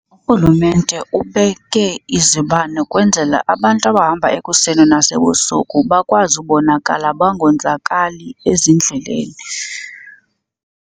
Urhulumente ubeke izibane kwenzela abantu abahamba ekuseni nasebusuku bakwazi ubonakala bangonzakali ezindleleni.